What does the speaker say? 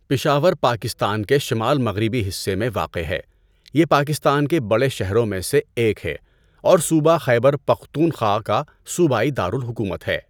پشاور پاکستان کے شمال مغربی حصے میں واقع ہے، یہ پاکستان کے بڑے شہروں میں سے ایک ہے اور صوبہ خیبر پختونخوا کا صوبائی دار الحکومت ہے۔